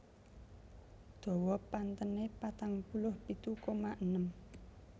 Dawa pantênê patang puluh pitu koma enem